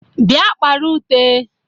bia kpara ute